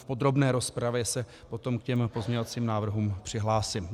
V podrobné rozpravě se potom k těm pozměňovacím návrhům přihlásím.